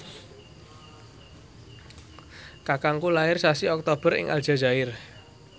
kakangku lair sasi Oktober ing Aljazair